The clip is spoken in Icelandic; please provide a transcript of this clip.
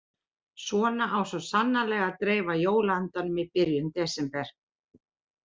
Svona á svo sannarlega að dreifa jóla-andanum í byrjun desember.